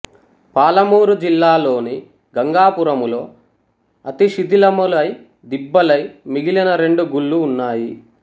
పాలమూరు జిల్లాలోని గంగాపురములో అతిశిథిలములై దిబ్బలై మిగిలిన రెండు గుళ్ళు ఉన్నాయి